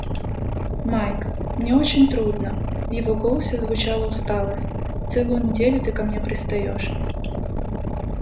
майк мне очень трудно в его голосе звучала усталость целую неделю ты ко мне пристаёшь